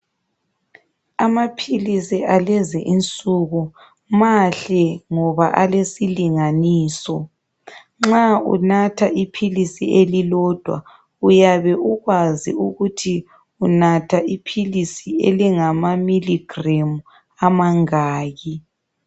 Amaphilizi alezi insuku mahle ngoba alesilinganiso, nxa unatha iphilisi elilodwa uyabe ukwazi ukuthi unatha iphilizi elingama "miligram" amangaki.